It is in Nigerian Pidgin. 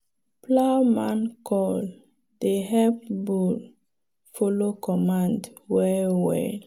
plowman call dey help bull follow command well well.